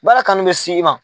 Baara kanu bɛ s'i ma.